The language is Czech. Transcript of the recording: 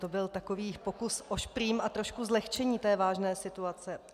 To byl takový pokus o šprým a trošku zlehčení té vážné situace.